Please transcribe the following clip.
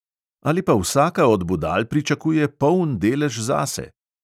Ali pa vsaka od budal pričakuje poln delež zase?!